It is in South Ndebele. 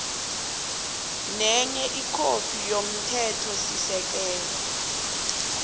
nenye ikhophi yomthethosisekelo